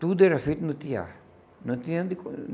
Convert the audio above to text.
Tudo era feito no tear. Não tinha onde